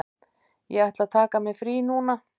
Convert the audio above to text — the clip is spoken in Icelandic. Ég ætla að taka mér frí núna.